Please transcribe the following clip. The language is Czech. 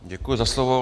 Děkuji za slovo.